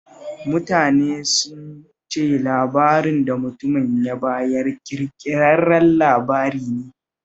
Mutanen sun ce labarin da mutumin ya bayar ƙirkirarren labari ne